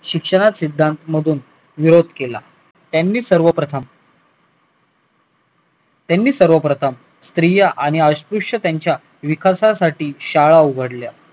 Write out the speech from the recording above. शिक्षणात सिद्धांत मधून विरोध केला त्यांनी सर्वप्रथम त्यांनी सर्वप्रथम स्त्रिया आणि अस्पृश्य त्यांच्या विकासासाठी शाळा उघडल्या